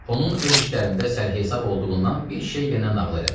Onun öz işlərində sərhisab olduğundan bir şey yenə nağıl elədim.